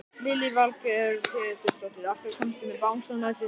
Lillý Valgerður Pétursdóttir: Af hverju komstu með bangsann með þér?